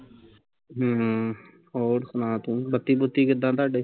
ਹਮ ਹੋਰ ਸੁਣਾ ਤੂੰ ਬੱਤੀ ਬੁਤੀ ਕਿੱਦਾਂ ਤੁਹਾਡੇ